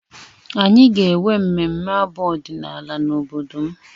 Anyị ga-enwe mmemme abụ ọdịnala n'obodo m